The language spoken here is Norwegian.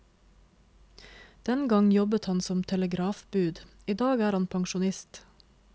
Den gang jobbet han som telegrafbud, i dag er han pensjonist.